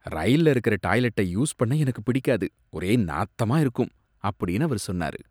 "ரயில்ல இருக்கற டாய்லெட்ட யூஸ் பண்ண எனக்கு பிடிக்காது, ஒரே நாத்தமா இருக்கும்" அப்படின்னு அவர் சொன்னாரு